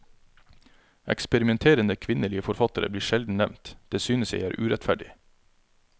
Eksperimenterende kvinnelige forfattere blir sjelden nevnt, det synes jeg er urettferdig.